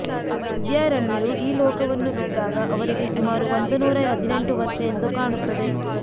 ವಿದ್ಯಾರಣ್ಯರು ಈ ಲೋಕವನ್ನು ಬಿಟ್ಟಾಗ ಅವರಿಗೆ ಸುಮಾರು ಒಂದು ನೂರ ಹದಿನೆಂಟು ವರ್ಷ ಎಂದು ಕಾಣುತ್ತದೆ